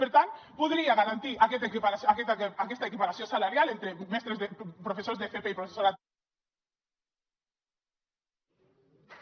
per tant podria garantir aquesta equiparació salarial entre professors d’fp i professorat de